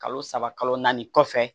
Kalo saba kalo naani kɔfɛ